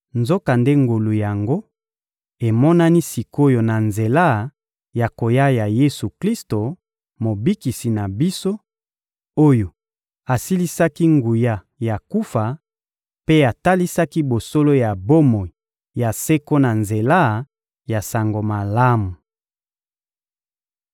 Nzokande ngolu yango emonani sik’oyo na nzela ya koya ya Yesu-Klisto, Mobikisi na biso, oyo asilisaki nguya ya kufa mpe atalisaki bosolo ya bomoi ya seko na nzela ya Sango Malamu.